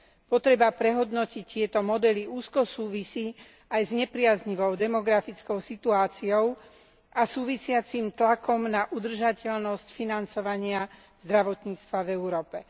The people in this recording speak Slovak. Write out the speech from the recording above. Potreba prehodnotiť tieto modely úzko súvisí aj s nepriaznivou demografickou situáciou a súvisiacim tlakom na udržateľnosť financovania zdravotníctva v Európe.